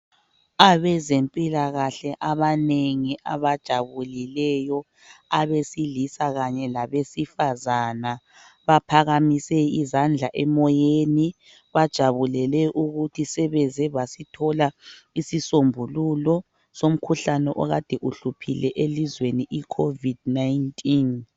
Abezempilakahle abanengi abajabulileyo abesilisa kanye labesifazana baphakamise izandla emoyeni. Bajabulele ukuthi sebeze basithola isisombululo somkhuhlane okade uhluphile elizweni I covid 19.